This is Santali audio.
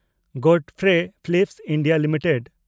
ᱜᱚᱰᱯᱷᱨᱮ ᱯᱷᱤᱞᱤᱯᱥ ᱤᱱᱰᱤᱭᱟ ᱞᱤᱢᱤᱴᱮᱰ